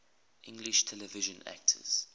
english television actors